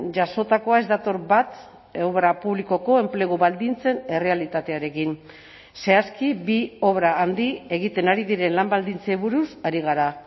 jasotakoa ez dator bat obra publikoko enplegu baldintzen errealitatearekin zehazki bi obra handi egiten ari diren lan baldintzei buruz ari gara